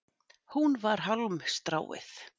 Hún var hálmstráið.